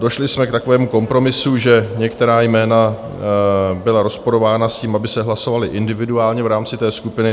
Došli jsme k takovému kompromisu, že některá jména byla rozporována s tím, aby se hlasovala individuálně v rámci té skupiny.